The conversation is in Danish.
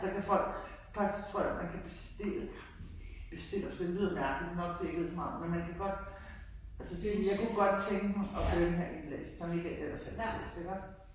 Så kan folk faktisk tror jeg man kan bestille bestille også det lyder mærkelig nok fordi jeg ikke ved så meget om det men man kan godt altså sige jeg kunne godt tænke mig at få den her indlæst som ikke ellers er indlæst iggå